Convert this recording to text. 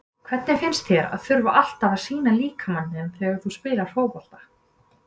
Hvernig finnst þér að þurfa alltaf að sýna líkama þinn þegar þú spilar fótbolta?